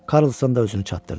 Karlson da özünü çatdırdı.